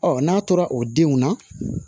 n'a tora o denw na